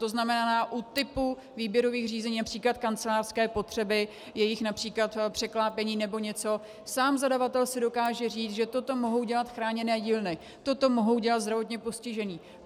To znamená u typu výběrových řízení, například kancelářské potřeby, jejich například překlápění nebo něco, sám zadavatel si dokáže říct, že toto mohou dělat chráněné dílny, toto mohou dělat zdravotně postižení.